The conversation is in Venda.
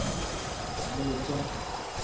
mutsha